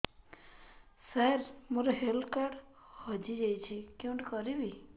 ସାର ମୋର health card ହଜି ଯାଇଛି କେଉଁଠି କରିବି